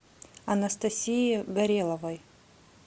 анастасии гореловой